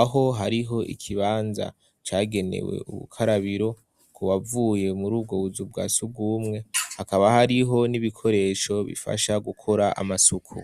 aho hariho ikibanza cagenewe ubukarabiro ku bavuye muri ubwo buzu bwasugumwe hakaba hariho n'ibikoresho bifasha gukora amasuku.